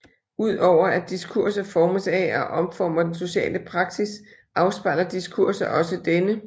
Udover at diskurser formes af og omformer den sociale praksis afspejler diskurser også denne